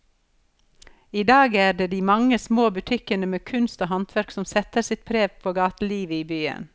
I dag er det de mange små butikkene med kunst og håndverk som setter sitt preg på gatelivet i byen.